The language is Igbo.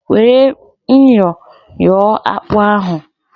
Were myọ yọọ akpụ ahụ!